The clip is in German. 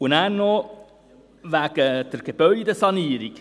Dann noch wegen der Gebäudesanierung.